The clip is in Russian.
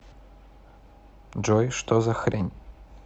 джой что за хрень